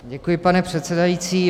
Děkuji, pane předsedající.